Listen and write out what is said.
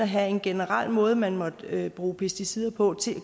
havde en generel måde man måtte bruge pesticider på nu